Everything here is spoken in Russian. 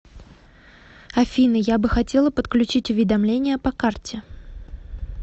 афина я бы хотела подключить уведомления по карте